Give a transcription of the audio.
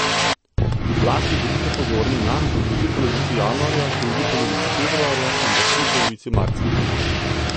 Zlasti bodite pozorni nanj v drugi polovici januarja, drugi polovici februarja in v prvi polovici marca.